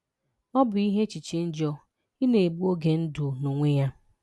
Ọ bụ ihe échịché njọ ị na-egbù oge ndụ n’onwe ya